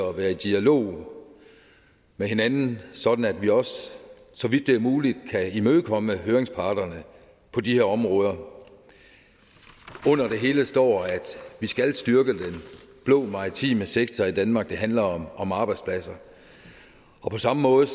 og være i dialog med hinanden sådan at vi også så vidt det er muligt kan imødekomme høringsparterne på de her områder under det hele står at vi skal styrke den blå maritime sektor i danmark det handler om arbejdspladser på samme måde